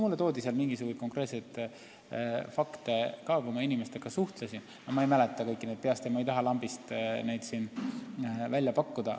Mulle toodi seal konkreetseid fakte ka, kui ma inimestega suhtlesin, aga ma ei mäleta neid kõiki peast ja ma ei taha neid siin lambist välja pakkuda.